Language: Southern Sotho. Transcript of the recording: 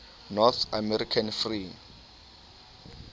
north american free